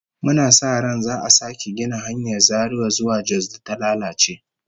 Muna sa ran za'a sake gina hanyar Zaria zuwa Jos da ta lalace